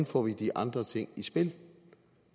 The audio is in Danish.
får de andre ting i spil